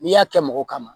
N'i y'a kɛ mɔgɔ ma